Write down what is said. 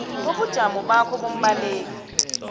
kobujamo bakho bombaleki